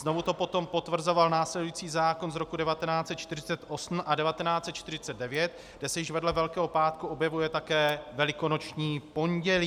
Znovu to potom potvrzoval následující zákon z roku 1948 a 1949, kde se již vedle Velkého pátku objevuje také Velikonoční pondělí.